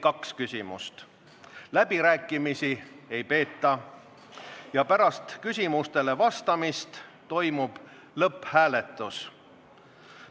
Läbirääkimisi ei peeta ja pärast küsimustele vastamist toimub lõpphääletus.